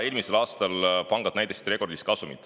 Eelmisel aastal said pangad rekordilise kasumi.